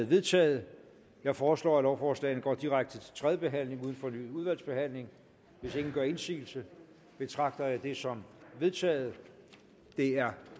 vedtaget jeg foreslår at lovforslaget går direkte til tredje behandling uden fornyet udvalgsbehandling hvis ingen gør indsigelse betragter jeg det som vedtaget det er